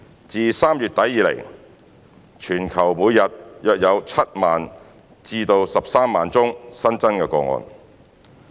自3月底以來，全球每日約有7萬至13萬宗新增個案。